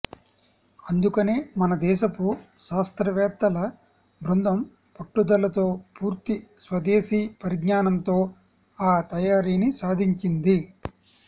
అందుకనే మన దేశపు శాస్తవ్రేత్తల బృందం పట్టుదలతో పూర్తి స్వదేశీ పరిజ్ఞానంతో ఆ తయారీని సాధించింది